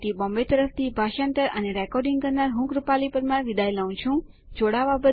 IIT Bombay તરફથી ભાષાંતર કરનાર હું કૃપાલી પરમાર વિદાય લઉં છું